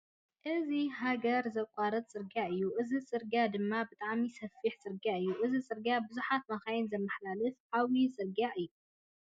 እዚ ሃገር ዘቛረፃ ፅርግያ እዩ። እዚ ፅርግያ ድማ ብጣዕሚ ሰፊሕ ፅርግያ እዩ። እዚ ፅርግያ ቡዙሓተ መካይን ዘማሕላልፍ ዓብይ ፅርግያ እዩ።